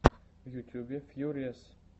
в ютьюбе фьюриэс